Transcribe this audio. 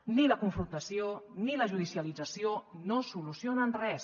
ni la confrontació ni la judicialització no solucionen res